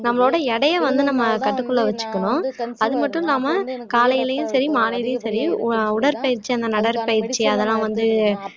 நம்மளோட எடையை வந்து நம்ம கட்டுக்குள்ள வச்சுக்கணும் அது மட்டும் இல்லாம காலையிலையும் சரி மாலையிலும் சரி அஹ் உடற்பயிற்சி அந்த நடைபயிற்சி அதெல்லாம் வந்து